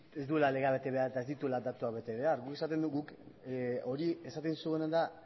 ez duela legea bete behar eta ez dituela datuak bete behar guk esaten dugu hori esaten dizueguna da